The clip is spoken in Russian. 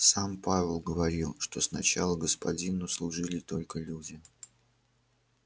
сам пауэлл говорил что сначала господину служили только люди